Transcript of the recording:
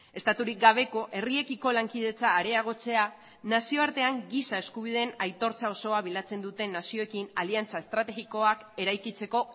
estaturik gabeko herriekiko lankidetza areagotzea nazioartean giza eskubideen aitortza osoa bilatzen duten nazioekin aliantza estrategikoak eraikitzeko